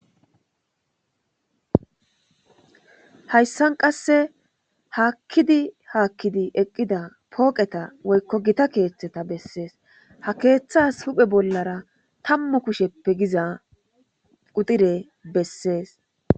hayssan qasse haakkidi haakkidi eqqida pooqeta woykko gita keeththeta bessees ha keeththas huphe bollara tammu kusheppe giza udire bessees